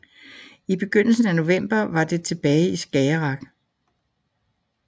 I begyndelsen af november var det tilbage i Skagerrak